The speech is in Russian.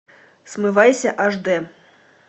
смывайся аш дэ